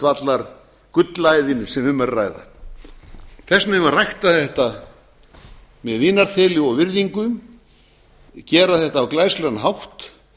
grundvallargullæðin sem um er að ræða þess vegna eigum við að rækta þetta með vinarþeli og virðingu gera þetta á glæsilegan hátt